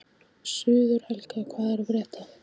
Sigurhelga, hvað er að frétta?